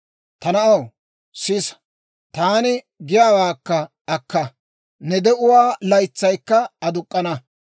Ta na'aw, sisa; taani giyaawaakka akka; ne de'uwaa laytsaykka aduk'k'ana.